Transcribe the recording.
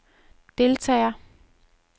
deltagere